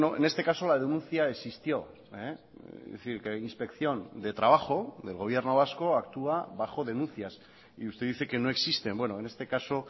en este caso la denuncia existió es decir que inspección de trabajo del gobierno vasco actúa bajo denuncias y usted dice que no existen bueno en este caso